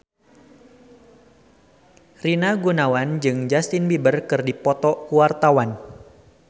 Rina Gunawan jeung Justin Beiber keur dipoto ku wartawan